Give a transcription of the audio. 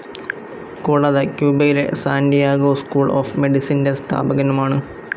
കൂടാതെ ക്യുബയിലെ Santiago school of മെഡിസിന്റെ സ്ഥാപകനുമാണ്.